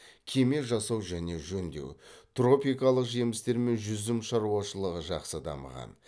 кеме жасау және жөндеу тропикалық жемістер мен жүзім шаруашылығы жақсы дамыған